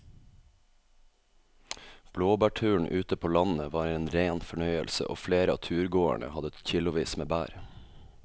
Blåbærturen ute på landet var en rein fornøyelse og flere av turgåerene hadde kilosvis med bær.